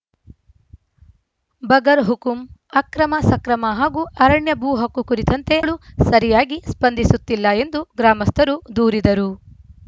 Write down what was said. ಬಗರ್‌ ಹುಕುಂ ಅಕ್ರಮ ಸಕ್ರಮ ಹಾಗೂ ಅರಣ್ಯ ಭೂ ಹಕ್ಕು ಕುರಿತಂತೆ ಳು ಸರಿಯಾಗಿ ಸ್ಪಂದಿಸುತ್ತಿಲ್ಲ ಎಂದು ಗ್ರಾಮಸ್ಥರು ದೂರಿದರು